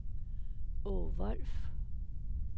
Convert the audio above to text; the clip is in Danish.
Aage Wolff